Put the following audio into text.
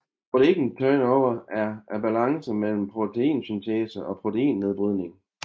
Protein turnover er balancen mellem proteinsyntese og proteinnedbrydning